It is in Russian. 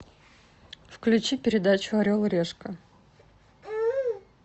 включи передачу орел и решка